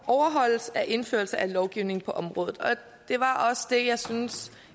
overholdes er indførelse af lovgivning på området og det var også det jeg synes